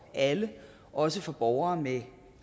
alle også for borgere med